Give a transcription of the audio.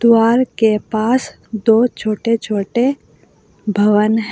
द्वारा के पास दो छोटे छोटे भवन हैं।